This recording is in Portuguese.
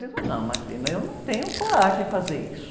Eu digo, não, eu não tenho coragem de fazer isso.